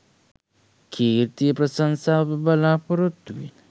කීර්තිය ප්‍රශංසාව බලාපොරොත්තුවෙන්